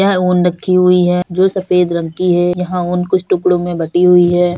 यह ऊन रखी हुई है जो सफेद रंग की है। यहाँ ऊन कुछ टुकड़ों मे बटी हुई है।